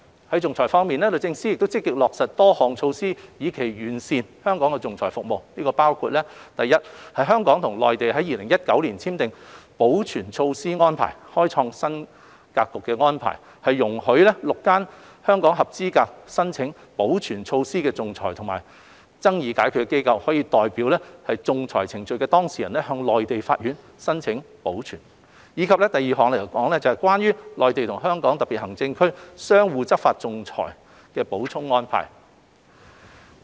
在仲裁服務方面，律政司積極落實多項措施以期完善香港的仲裁服務，包括： a 香港與內地在2019年簽訂了保全措施安排，開創新格局的安排容許6間香港合資格申請保全措施的仲裁及爭議解決機構，可以代表仲裁程序的當事人向內地法院申請保全；及 b《關於內地與香港特別行政區相互執行仲裁裁決的補充安排》。